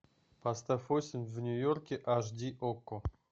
поставь осень в нью йорке аш ди окко